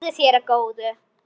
Verði þér að góðu.